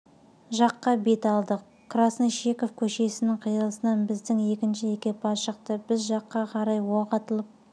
жаққа бет алдық краснощеков көшесінің қиылысынан біздің екінші экипаж шықты біз жаққа қарай оқ атылып